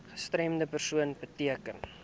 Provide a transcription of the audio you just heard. gestremde persoon beteken